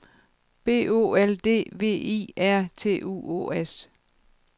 B O L D V I R T U O S